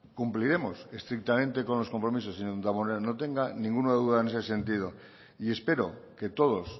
cumpliremos estrictamente con los compromisos señor damborenea no tenga ninguna duda en ese sentido y espero que todos